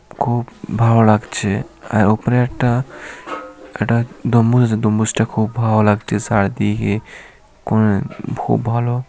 খুব ভালো লাগছে। আর ওখানে একটা একটা ডম্বুজ আছে ডম্বুজটা খুব ভালো লাগতি চারদিকে। কোন খুব ভালো।